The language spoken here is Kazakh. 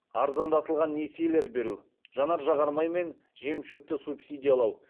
арзандатылған несиелер беру жанар жағар май мен жемшөпті субсидиялау